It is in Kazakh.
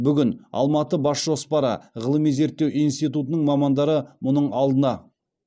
бүгін алматыбасжоспары ғылыми зерттеу институтының мамандары мұның алдына